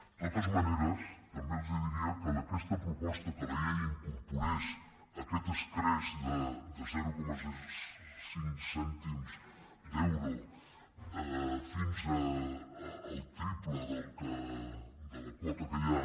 de totes maneres també els diria que aquesta proposta que la llei incorpori aquest escreix de zero coma cinc cèntims d’euro fins al triple de la quota que hi ha